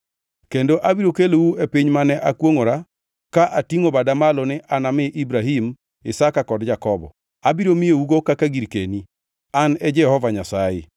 Kendo abiro kelou e piny mane akwongʼora ka atingʼo bada malo ni anami Ibrahim, Isaka kod Jakobo. Abiro miyougo kaka girkeni. An e Jehova Nyasaye.’ ”